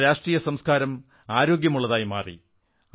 നമ്മുടെ രാഷ്ട്രീയ സംസ്കാരവും ആരോഗ്യമുള്ള ശീലവും വളർന്നു